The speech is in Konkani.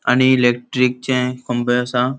आणि इलेकट्रीकचे ख्मबे असा.